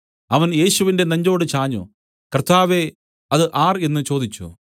അവൻ യേശുവിന്റെ നെഞ്ചോട് ചാഞ്ഞു കർത്താവേ അത് ആർ എന്നു ചോദിച്ചു